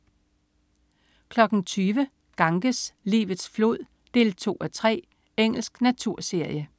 20.00 Ganges, livets flod 2:3. Engelsk naturserie